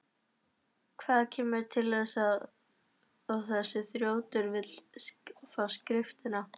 Hvað kemur til að þessi þrjótur vill skrifta?